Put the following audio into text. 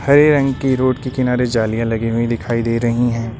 हरे रंग की रोड के किनारे जालियां लगी हुई दिखाई दे रही हैं।